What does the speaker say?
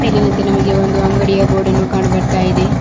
ಮೇಲಿನಂತೆ ನಮಗೆ ಒಂದು ಅಂಗಡಿಯ ಬೋರ್ಡ ನ್ನು ಕಾಣು ಬರ್ತಾಇದೇ.